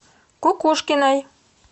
кукушкиной